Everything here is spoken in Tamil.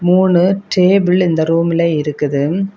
மூணு டேபிள் இந்த ரூம்ல இருக்குது.